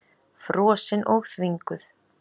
Frosin og þvinguð.